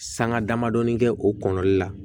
Sanga damadɔnin kɛ o kɔnɛli la